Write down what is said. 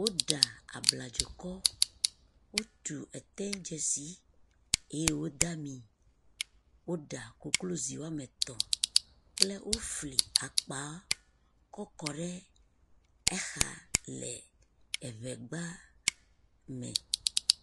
Woɖa abladzokɔ, wotu eteidzesi eye wode ami, woɖa koklozi woame etɔ̃ kple wofli akpa kɔ kɔ ɖe exa le eŋegba me.